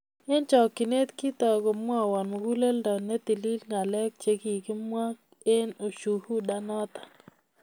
Eng chokchinet kitoi komwawon muguleldo netilil ngalek chegigimwaa eng ushuhuda noto---